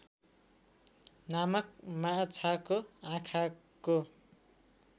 नामक माछाको आँखाको